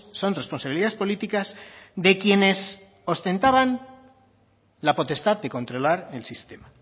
son responsabilidades políticas de quienes ostentaban la potestad de controlar el sistema